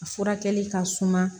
A furakɛli ka suma